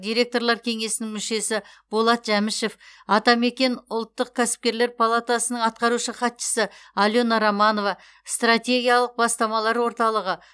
директорлар кеңесінің мүшесі болат жәмішев атамекен ұлттық кәсіпкерлер палатасының атқарушы хатшысы алена романова стратегиялық бастамалар орталығы